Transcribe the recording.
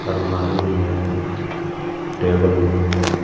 अलमारी भी है टेबल भी है.